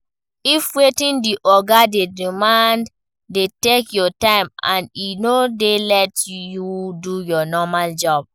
If wetin di oga dey demand dey take your time and e no dey let you do your normal job